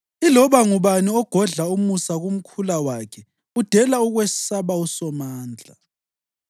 Iloba ngubani ogodla umusa kumkhula wakhe udela ukwesaba uSomandla.